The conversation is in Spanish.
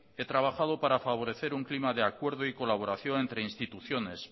he trabajado para favorecer una prima de acuerdo y colaboración entre instituciones